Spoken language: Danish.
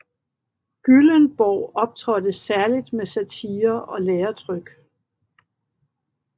Gyllenborg optrådte særlig med satirer og læretryk